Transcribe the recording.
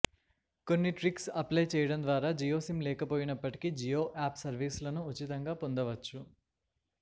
కొన్ని ట్రిక్స్ను అప్లై చేయటం ద్వారా జియో సిమ్ లేకపోయినప్పటికి జియో యాప్ సర్వీసులను ఉచితంగా పొందవచ్చు